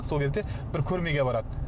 сол кезде бір көрмеге барады